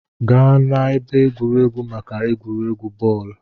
Gaa n'ebe egwuregwu maka egwuregwu bọọlụ!